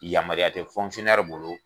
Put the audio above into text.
Yamaruya tɛ bolo